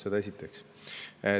Seda esiteks.